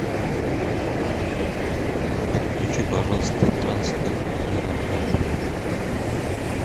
подключи пожалуйста трансфер в аэропорт